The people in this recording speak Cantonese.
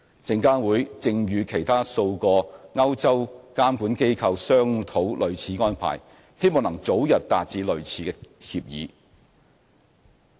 證監會正與其他數個歐洲監管機構商討類似安排，希望能早日達致類似協議。